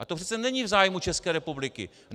A to přece není v zájmu České republiky.